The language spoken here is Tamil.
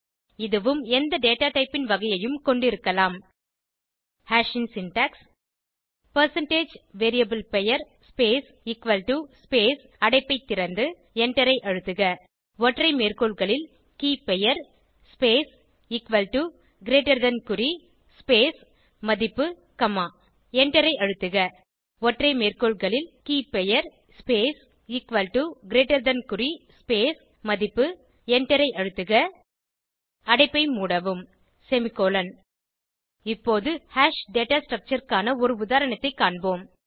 இதுவும் எந்த டேட்டா டைப் ன் வகையையும் கொண்டிருக்கலாம் ஹாஷ் ன் சின்டாக்ஸ் பெர்சென்டேஜ் வேரியபிள் பெயர் ஸ்பேஸ் எக்குவல் டோ ஸ்பேஸ் அடைப்பை திறந்து எண்டரை அழுத்துக ஒற்றை மேற்கோள்களில் கே பெயர் space equal to greater than குறி ஸ்பேஸ் மதிப்பு காமா எண்டரை அழுத்துக ஒற்றை மேற்கோள்களில் கே பெயர் space equal to greater than குறி ஸ்பேஸ் மதிப்பு எண்டரை அழுத்துக அடைப்பை மூடவும் செமிகோலன் இப்போது ஹாஷ் டேட்டா ஸ்ட்ரக்சர் க்கான ஒரு உதாரணத்தைக் காண்போம்